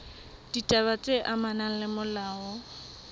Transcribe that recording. ditaba tse amanang le molao